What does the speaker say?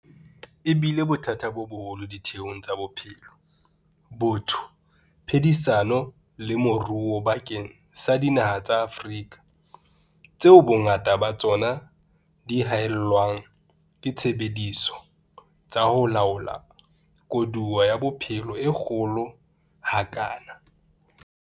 E bile bothata bo boholo ditheong tsa bophelo, botho, phedisano le moruo bakeng sa dinaha tsa Afrika, tseo bongata ba tsona di haellwang ke disebediswa tsa ho laola koduwa ya bophelo e kgolo ha kana.